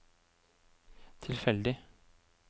tilfeldig